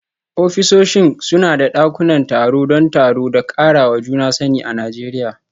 Ofisoshi suna da dakunan taro don taro da karawa juna sani a Najeriya.